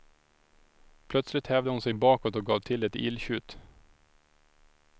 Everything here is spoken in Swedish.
Plötsligt hävde hon sig bakåt och gav till ett illtjut.